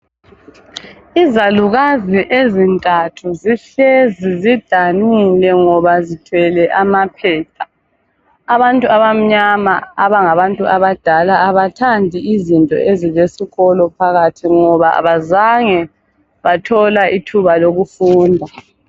izalukazi ezintathu zihlezi zidanungile ngoba zithwele amaphepha abantu abamnyama abangabantu abadala abathandi izinto ezilesikolo phakathi ngoba abazange bathola ithuba lokufunda